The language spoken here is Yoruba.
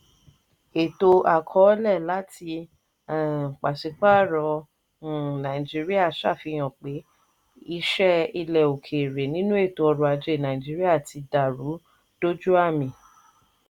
ètò àkọ́ọ̀lẹ̀ láti um pàṣípàrọ̀ um nàìjíríà ṣàfihàn pé ìṣe ilẹ̀ òkèèrè nínú ètò ọrọ̀ ajé nàìjíríà tí dàrú dójú àmì.